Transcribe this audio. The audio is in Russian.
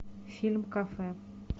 фильм кафе